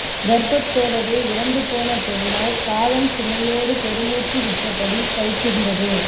கர்ப்பத்தோடவே இறந்து போன பெண்ணாய் காலம் சுமையோடு பெருமூச்சு விட்டபடி தவிக்கின்றது